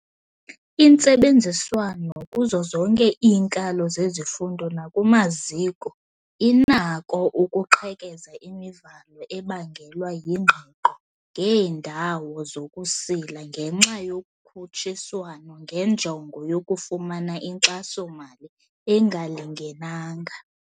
Intsebenziswano kuzo zonke iinkalo zezifundo nakumaziko inakho ukuqhekeza imivalo ebangelwa yingqiqo ngeendawo zokusila ngenxa yokhutshiswano ngenjongo yokufumana inkxaso-mali engalingenanga.